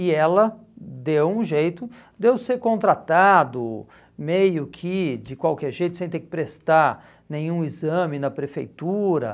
E ela deu um jeito de eu ser contratado meio que de qualquer jeito, sem ter que prestar nenhum exame na prefeitura.